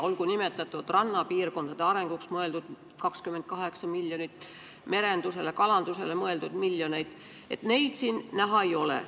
Olgu nimetatud rannapiirkondade arendamiseks mõeldud 28 miljonit, merendusele, kalandusele mõeldud miljoneid – neid siin näha ei ole.